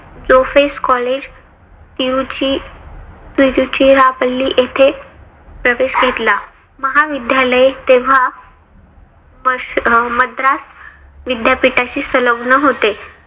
जोफेस college U G Tiruchirappalli येथे प्रवेश घेतला. महाविद्यालये तेव्हा मद्रास विद्यापीठाशी सलग्न होते.